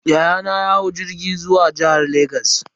Yayana ya hau jirgi zuwa jihar Legas.